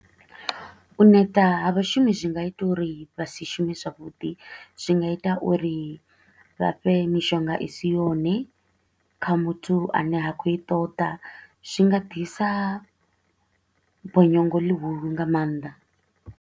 U neta ha vhashumi zwi nga ita uri vha si shume zwavhuḓi, zwi nga ita uri vha fhe mishonga i si yone kha muthu a ne a kho u i ṱoḓa. Zwi nga ḓisa bonyongo ḽihulu nga maanḓa.